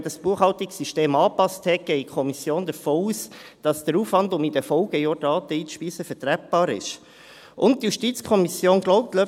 Aber die JuKo geht davon aus, dass der Aufwand, um in den Folgejahren Daten einzuspeisen, vertretbar ist, nachdem man das Buchhaltungssystem angepasst hat.